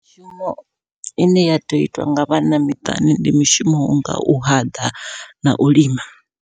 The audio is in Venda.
Mishumo ine ya tea u itwa nga vhanna miṱani ndi mishumo wonga u haḓa nau lima.